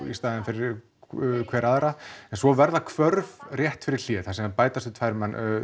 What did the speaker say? í staðinn fyrir hver aðra en svo verða hvörf rétt fyrir hlé þar sem bætast við tvær